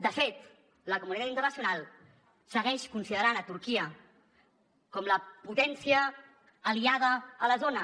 de fet la comunitat internacional segueix considerant turquia com la potència aliada a la zona